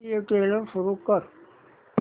official trailer सुरू कर